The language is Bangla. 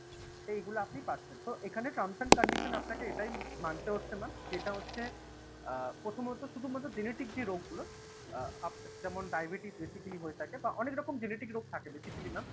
তো এইগুলো আপনি পাচ্ছেন, তো এখানে trams and conditions আপনাকে এটাই মানতে হচ্ছে mam যেটা হচ্ছে আ প্রথমত শুধুমাত্র জেনেটিক যে রোগ গুলো আ যেমন ডায়বেটিস basically হয়ে থাকে বা অনেক রকম জেনেটিক রোগ থাকে basically mam